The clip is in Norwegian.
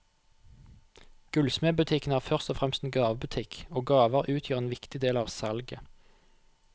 Gullsmedbutikken er først og fremst en gavebutikk, og gaver utgjør en viktig del av salget.